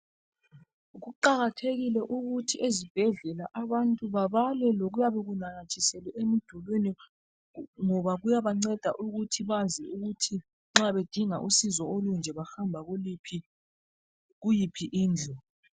Kuqakathekile ukuthi ezibhedlela abantu babale lokuyabe kunanyathiselwe emdulini ngoba kuyabanceda ukuthi bazi ukuthi nxa bedinga usizo olunje bahamba kuyiphi indlu.